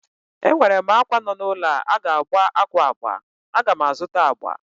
Enwerem àkwá nọ n'ulọ a ga-agba àkwá agba, agam azụta agba